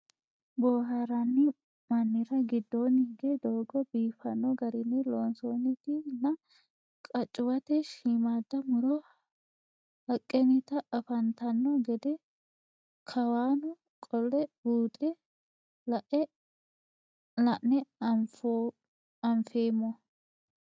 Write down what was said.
Booharanni mannira giddonni hige doogo biiffanno garinni loonsoonnitti nna qaccuwatte shiimmada muro haqennitti afanttanno gede kawanno qolle buunxxe la'ne anfeemmo